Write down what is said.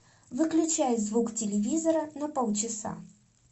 выключай звук телевизора на полчаса